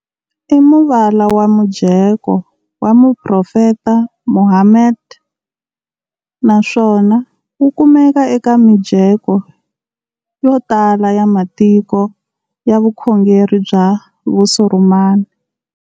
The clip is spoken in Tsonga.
I muvala wa mujeko wa mu profeta Muhammad, naswona wu kumeka eka mijeko ya tala ya matiko ya vukhongeri bya Vusurumani.